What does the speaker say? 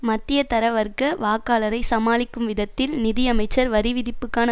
மத்தியதர வர்க்க வாக்காளரை சமாளிக்கும் விதத்தில் நிதியமைச்சர் வரி விதிப்புக்கான